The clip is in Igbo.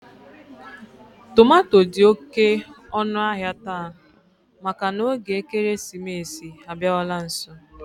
Tomato dị oké ọnụahịa taa maka na oge ekeresimesi abịawala nso